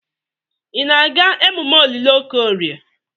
Ị na-aga emume olili Okorie?